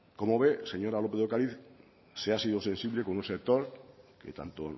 como ve señora lópez de ocariz se ha sido sensible con un sector que tanto